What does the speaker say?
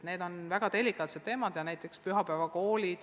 Need on väga delikaatsed teemad.